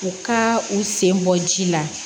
U ka u sen bɔ ji la